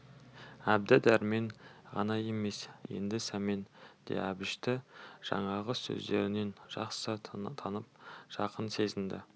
әбді дәрмен ғана емес енді сәмен де әбішті жаңағы сөздерінен жақсы танып жақын сезінді